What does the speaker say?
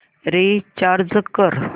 recharge कर